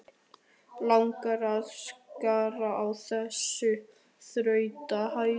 Langar að skera á þessar þrútnu æðar.